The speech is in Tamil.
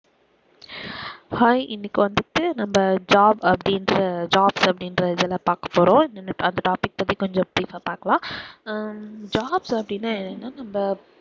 hi இன்னைக்கு வந்துட்டு நம்ம job அப்படின்ற job அப்படின்ற இதை தான் பாக்க போறோம் அந்த topic பத்தி கொஞ்சம் brief ஆ பாக்கலாம் ஆஹ் job அப்படின்னா என்ன நம்ம